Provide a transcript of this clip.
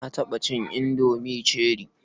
Na taɓa cin indomi cherie.